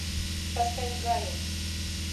поставь гаю